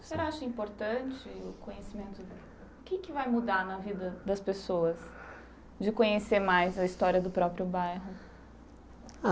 O senhor acha importante, o conhecimento, o que é que vai mudar na vida das pessoas de conhecer mais a história do próprio bairro? Ah